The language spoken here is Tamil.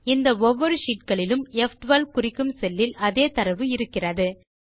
இந்த ஒவ்வொரு sheetகளிலும் ப்12 குறிக்கும் செல்லில் அதே தரவு இருக்கிறது